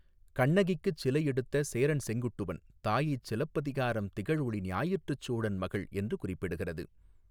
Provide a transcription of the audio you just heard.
கண்ணகிக்குச் சிலை எடுத்த சேரன் செங்குட்டுவன் தாயைச் சிலப்பதிகாரம் திகழொளி ஞாயிற்றுச் சோழன் மகள் என்று குறிப்பிடுகிறது.